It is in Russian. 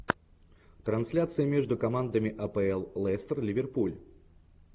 трансляция между командами апл лестер ливерпуль